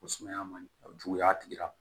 Ko sumaya man juguya a tigi la